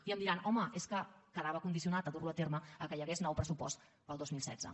i em diran home és que quedava condicionat dur lo a terme que hi hagués nou pressupost per al dos mil setze